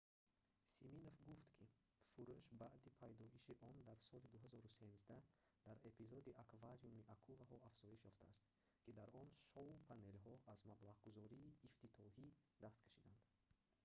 симинов гуфт ки фурӯш баъди пайдоиши он дар соли 2013 дар эпизоди аквариуми акулаҳо афзоиш ёфтааст ки дар он шоу-панелҳо аз маблағгузории ифтитиҳоӣ даст кашиданд